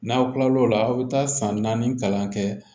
N'aw kilal'o la aw bi taa san naani kalan kɛ